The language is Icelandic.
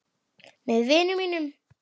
Með vinum mínum.